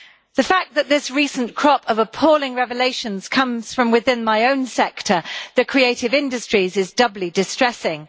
The fact that this recent crop of appalling revelations comes from within my own sector, the creative industries, is doubly distressing.